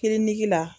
Kiliniki la